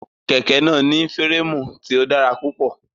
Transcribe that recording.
Kẹ̀kẹ́ náà ní férémù tí ó dára púpọ̀.